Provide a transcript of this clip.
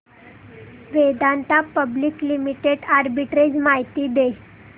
Vedanta public limited arbitrage माहिती दे